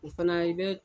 O fana i bɛ